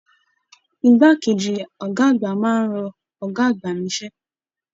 Ìgbà keji ọgá àgbà máa n rọ ọgá àgbà n'isẹ.